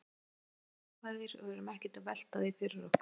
Við erum bara jákvæðir og erum ekkert að velta því fyrir okkur.